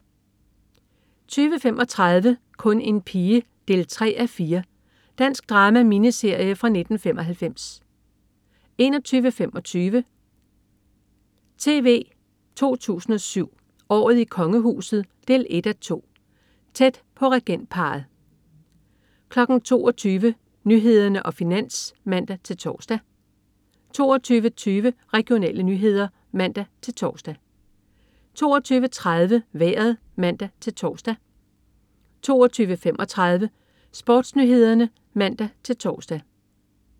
20.35 Kun en pige 3:4. Dansk drama-miniserie fra 1995 21.25 TV 2 007: Året i Kongehuset 1:2. Tæt på regentparret 22.00 Nyhederne og Finans (man-tors) 22.20 Regionale nyheder (man-tors) 22.30 Vejret (man-tors) 22.35 SportsNyhederne (man-tors)